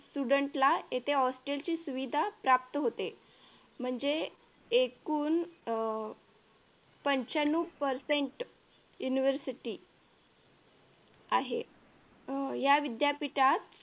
student hostel ला येथे hostel ची सुविधा प्राप्त होते म्हणजे एकूण अह पंच्यान्नव percent university आहे अह या विद्यापीठात